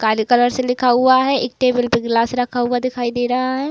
काले कलर से लिखा हुआ है। एक टेबल पे ग्लास रखा हुआ दिखाई दे रहा है।